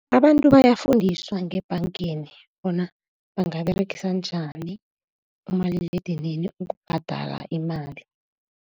Abantu bayafundiswa ngebhangeni bona bangaberegisa njani umaliledinini ukubhadala imali.